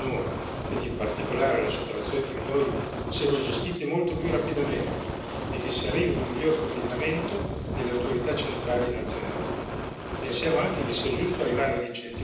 Pensiamo sia positivo che le cause relative ai minori, ed in particolare alla sottrazione di minori, siano gestite molto più rapidamente e che si arrivi ad un miglior coordinamento delle autorità centrali nazionali.